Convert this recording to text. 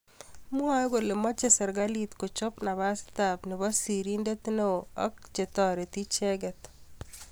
Mwoe kole moche serkalit kochop napasta nebo sirindet neo ak chetoriti icheket